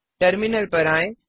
terminal पर आएँ